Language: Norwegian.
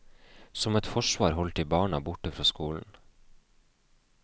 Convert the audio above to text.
Som et forsvar holdt de barna borte fra skolen.